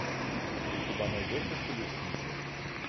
у тебя найдется челюскинцы